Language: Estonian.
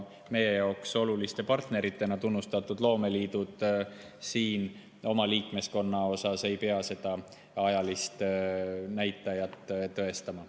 Meie oluliste partneritena tunnustatud loomeliidud oma liikmeskonna puhul ei pea seda ajalist näitajat tõestama.